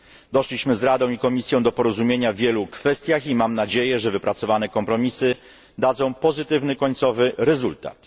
Doszliśmy z Radą i Komisją do porozumienia w wielu kwestiach i mam nadzieję, że wypracowane kompromisy dadzą pozytywny końcowy rezultat.